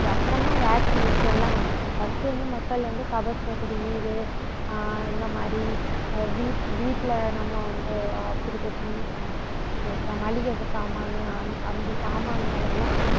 அப்புறம்தான் vaccination எல்லாம் வந்துச்சு. first வந்து மக்கள் வந்து கபசுர குடிநீர் ஆஹ் இந்த மாதிரி ஆஹ் வீட்~ வீட்டில நம்ம வந்து ஆஹ் மளிகை சாமான் அந்த சாமான்களெல்லாம்